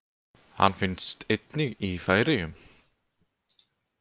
Hann finnst einnig í Færeyjum.